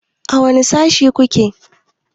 A wane Sashe ku ke?